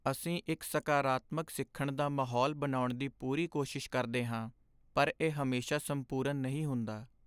ਅਸੀਂ ਇੱਕ ਸਕਾਰਾਤਮਕ ਸਿੱਖਣ ਦਾ ਮਾਹੌਲ ਬਣਾਉਣ ਦੀ ਪੂਰੀ ਕੋਸ਼ਿਸ਼ ਕਰਦੇ ਹਾਂ, ਪਰ ਇਹ ਹਮੇਸ਼ਾ ਸੰਪੂਰਨ ਨਹੀਂ ਹੁੰਦਾ।